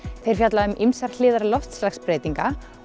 þeir fjalla um ýmsar hliðar loftslagsbreytinga